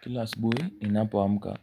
Kila asubuhi ninapo amka,